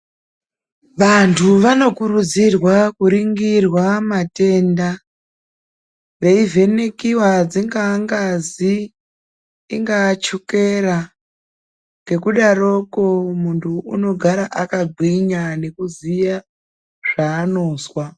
Vantu vanokurudzirwa kuningirwa matenda veivhenekiwa dzingava ngazi ingava chokera nekudaroko muntu anogara akagwinya nekuziya zvaanozwa .